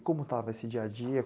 Como estava esse dia-a-dia?